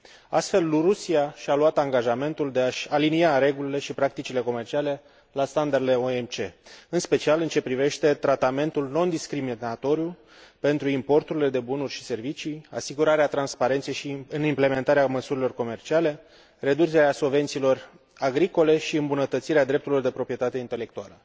Astfel, Rusia și a luat angajamentul de a și alinia regulile și practicile comerciale la standardele OMC, în special în ce privește tratamentul nediscriminatoriu pentru importurile de bunuri și servicii, asigurarea transparenței în implementarea măsurilor comerciale, reducerea subvențiilor agricole și îmbunătățirea drepturilor de proprietate intelectuală.